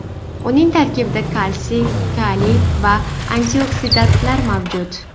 Uning tarkibida kalsiy, kaliy va antioksidantlar mavjud.